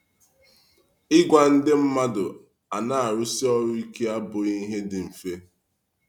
Ịgwa ndị mmadụ a na-arụsi ọrụ ike abụghị ihe dị mfe.